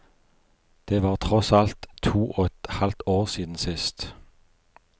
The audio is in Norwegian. Det var tross alt to og et halvt år siden sist.